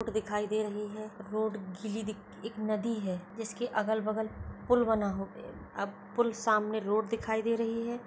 एक रोड दिखाई दे रही है रोड गीली दिख एक नदी है जिसके अगल बगल पुल बना हो अब पुल सामने रोड दिखाई दे रही है।